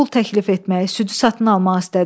O pul təklif etməyi, südü satın almağı istədi.